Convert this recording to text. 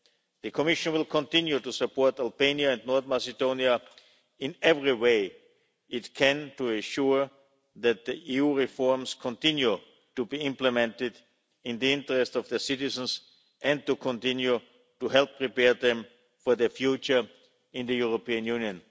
The Commission will continue to support Albania and North Macedonia in every way it can, to ensure that the EU reforms continue to be implemented, in the interest of their citizens, and to continue to help prepare them for their future in the European Union.